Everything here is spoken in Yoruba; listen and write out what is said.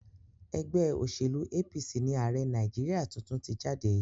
Ẹgbẹ́ òṣèlú APC ni ààrẹ Nàìjíríà tuntun ti jáde.